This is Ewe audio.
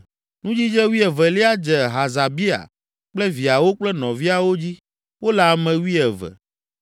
Nudzidze wuievelia dze Hasabia kple viawo kple nɔviawo dzi; wole ame wuieve.